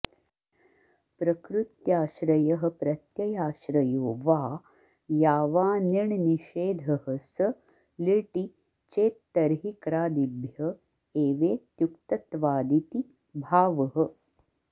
प्रकृत्याश्रयः प्रत्ययाश्रयो वा यावानिण्निषेधः स लिटि चेत्तर्हि क्रादिभ्य एवेत्युक्तत्वादिति भावः